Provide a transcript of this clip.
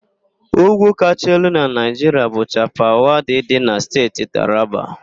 Úgwú kacha elu na Naịjiria bu Chapal Wadi dị na Steeti Taraba.